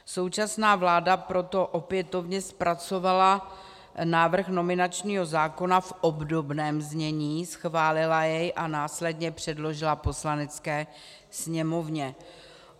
Současná vláda proto opětovně zpracovala návrh nominačního zákona v obdobném znění, schválila jej a následně předložila Poslanecké sněmovně.